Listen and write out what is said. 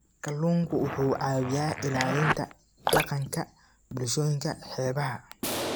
Kalluunku wuxuu caawiyaa ilaalinta dhaqanka bulshooyinka xeebaha.